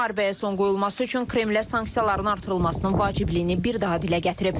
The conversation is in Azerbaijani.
Müharibəyə son qoyulması üçün Kremlə sanksiyaların artırılmasının vacibliyini bir daha dilə gətirib.